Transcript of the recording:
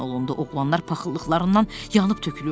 Oğlanlar paxıllıqlarından yanıb tökülürdülər.